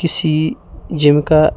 किसी जिम का--